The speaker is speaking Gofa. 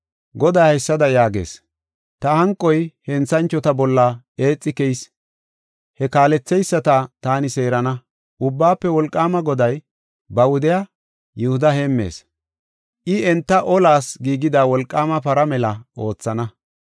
Goday haysada yaagees: “Ta hanqoy henthanchota bolla eexi keyis; he kaaletheyisata taani seerana. Ubbaafe Wolqaama Goday ba wudiya Yihuda heemmees. I enta olas giigida wolqaama para mela oothana.